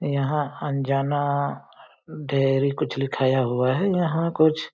यहाँ अनजाना डेरी कुछ लिखाया हुआ है यहाँ कुछ --